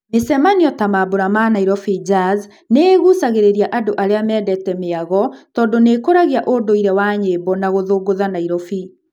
Mĩcemanio ta mambũra ma Nairobi Jazz, nĩĩgucagĩrĩria andũ arĩa mendete mĩago tondũ nĩĩkuragia ũndũire wa nyĩmbo na gũthũngũtha Nairobi.